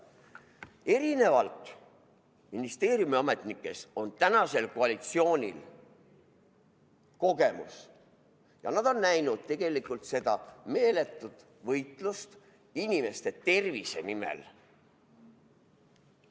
Erinevalt ministeeriumi ametnikest on tänasel koalitsioonil kogemus ja nad on näinud tegelikult seda meeletut võitlust inimeste tervise nimel.